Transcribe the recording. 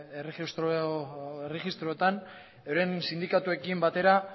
erregistroetan euren sindikatuekin batera